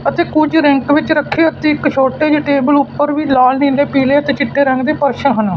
ਅਤੇ ਕੁਝ ਰਿੰਕ ਵਿੱਚ ਰੱਖੇ ਤੇ ਇੱਕ ਛੋਟੀ ਜਿਹੀ ਟੇਬਲ ਉੱਪਰ ਵੀ ਲਾਲ ਨੀਲੇ ਪੀਲੇ ਅਤੇ ਚਿੱਟੇ ਰੰਗ ਦੇ ਫਰਸ਼ ਹਨ।